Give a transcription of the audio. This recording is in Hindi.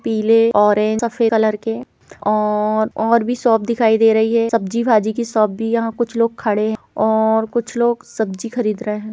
पीले ऑरेंज सफ़ेद कलर के और और भी शॉप दिखाई दे रही है सब्जी भाजी की शॉप भी यहाँ कुछ लोग खड़े है और कुछ लोग सब्जी खरीद रहे हैं।